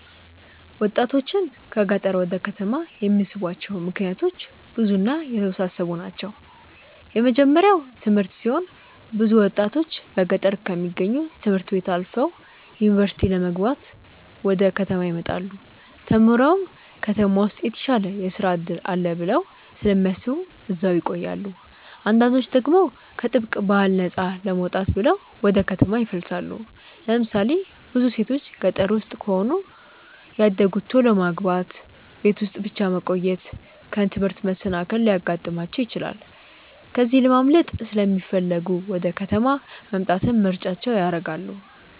ወጣቶችን ከገጠር ወደ ከተማ የሚስቧቸው ምክንያቶች ብዙ እና የተወሳሰቡ ናቸው። የመጀመርያው ትምህርት ሲሆን ብዙ ወጣቶች በገጠር ከሚገኙ ት/ቤቶች አልፈው ዩኒቨርሲቲ ለመግባት ወደ ከተማ ይመጣሉ። ተምረውም ከተማ ውስጥ የተሻለ የስራ እድል አለ ብለው ስለሚያስቡ እዛው ይቆያሉ። አንዳንዶች ደግሞ ከጥብቅ ባህል ነፃ ለመውጣት ብለው ወደ ከተማ ይፈልሳሉ። ለምሳሌ ብዙ ሴቶች ገጠር ውስጥ ከሆነ ያደጉት ቶሎ ማግባት፣ ቤት ውስጥ ብቻ መቆየት፣ ከትምህርት መሰናከል ሊያጋጥማቸው ይችላል። ከዚህ ለማምለጥ ሲለሚፈልጉ ወደ ከተማ መምጣትን ምርጫቸው ያደርጋሉ።